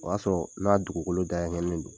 O y'a sɔrɔ n'a dugukolo dakɛɲɛnnen don